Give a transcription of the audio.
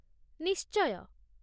ନିଶ୍ଚୟ ।